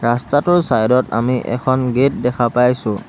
ৰাস্তাটোৰ ছাইদত আমি এখন গেট দেখা পাইছোঁ।